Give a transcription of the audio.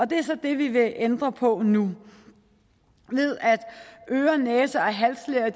det er så det vi vil ændre på nu ved at øre næse og halslæger